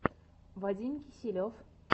вадим киселев